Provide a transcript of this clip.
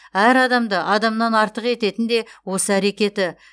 әр адамды адамнан артық ететін де осы әрекеті